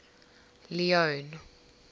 leone